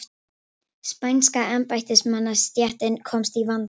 Spænska embættismannastéttin komst í vanda.